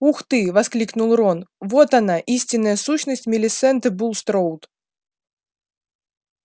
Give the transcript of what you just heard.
ух ты воскликнул рон вот она истинная сущность милисенты булстроуд